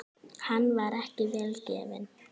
Hann var ekki vel gefinn.